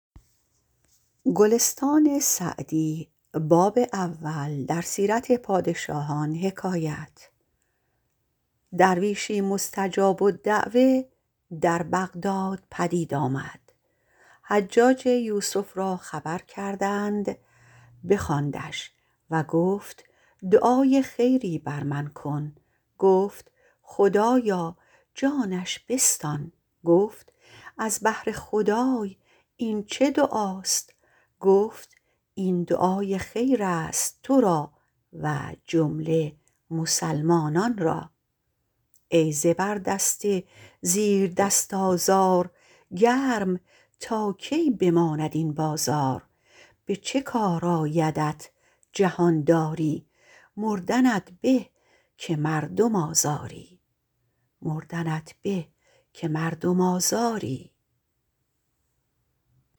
درویشی مستجاب الدعوة در بغداد پدید آمد حجاج یوسف را خبر کردند بخواندش و گفت دعای خیری بر من بکن گفت خدایا جانش بستان گفت از بهر خدای این چه دعاست گفت این دعای خیر است تو را و جمله مسلمانان را ای زبردست زیردست آزار گرم تا کی بماند این بازار به چه کار آیدت جهانداری مردنت به که مردم آزاری